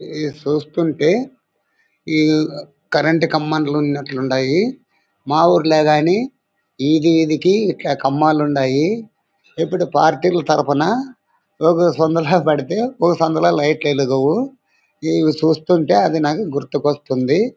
ఇది చూస్తుంటే ఈఈ కరంట్ కమాండ్లు ఉన్నట్టుండాయి. మా ఊర్లో కానీ ఇది ఈడీకి ఐలా కమాండ్లున్నాయి. ఇప్పుడు పార్టీలు తరుపున ఒక సందులో పెడితే ఒక సందులో లైట్ లు వెలగవు. ఇవి చూస్తుంటే అవి నాకు గుర్తుకొస్తుంది.